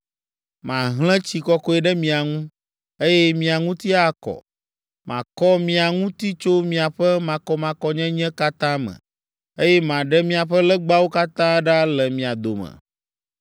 Mahlẽ tsi kɔkɔe ɖe mia ŋu, eye mia ŋuti akɔ. Makɔ mia ŋuti tso miaƒe makɔmakɔnyenye katã me, eye maɖe miaƒe legbawo katã ɖa le mia dome.